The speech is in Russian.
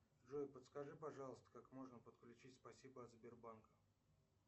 джой подскажи пожалуйста как можно подключить спасибо от сбербанка